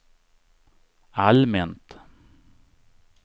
allmänt